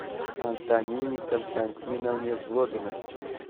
антонине константиновне злобиной